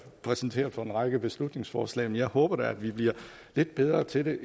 præsenteret for en række beslutningsforslag men jeg håber da vi bliver lidt bedre til at